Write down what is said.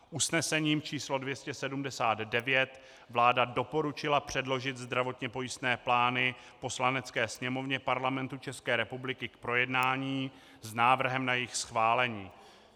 Usnesením číslo 279 vláda doporučila předložit zdravotně pojistné plány Poslanecké sněmovně Parlamentu České republiky k projednání s návrhem na jejich schválení.